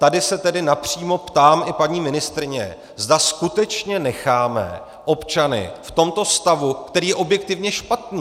Tady se tedy napřímo ptám i paní ministryně, zda skutečně necháme občany v tomto stavu, který je objektivně špatný.